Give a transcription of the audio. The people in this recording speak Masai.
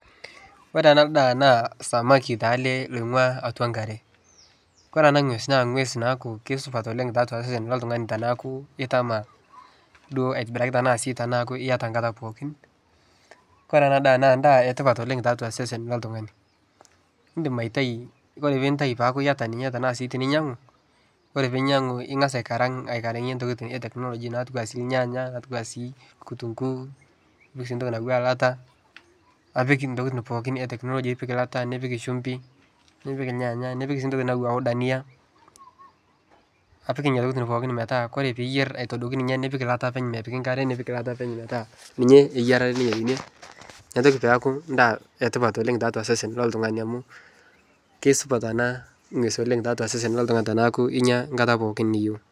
Ore ena ndaa naa samaki oing'ua atua enkare ore ena ng'ues naa eng'us naa kisupat oleng tiatua osesen loo oltung'ani teneku etama aitobira enaake ore ena daa naa enetipat tiatua osesen loo oltung'ani edim aitayu ashu enyiangu naa eng'as aikarangie tokitin ee tekinoloji nipik entokitin pookin metaa teniyieu mipik enkare eyilata eyiarare neeku enetipat tiatua osesen loo oltung'ani kisupat ena ng'ues tiatua osesen loo oltung'ani tenekuu enyia enkata pookin niyieu